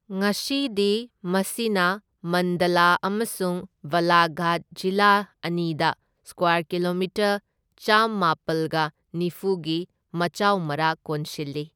ꯉꯁꯤꯗꯤ ꯃꯁꯤꯅ ꯃꯟꯗꯂꯥ ꯑꯃꯁꯨꯡ ꯕꯥꯂꯥꯘꯥꯠ ꯖꯤꯂꯥ ꯑꯅꯤꯗ ꯁꯀ꯭ꯋꯥꯔ ꯀꯤꯂꯣꯃꯤꯇꯔ ꯆꯥꯝꯃꯥꯄꯜꯒ ꯅꯤꯐꯨꯒꯤ ꯃꯆꯥꯎ ꯃꯔꯥꯛ ꯀꯣꯟꯁꯤꯜꯂꯤ꯫